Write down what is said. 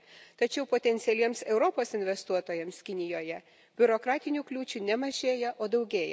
Tačiau potencialiems Europos investuotojams Kinijoje biurokratinių kliūčių ne mažėja, o daugėja.